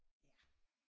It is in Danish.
Ja